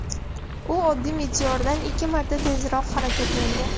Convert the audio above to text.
U oddiy meteordan ikki marta tezroq harakatlangan.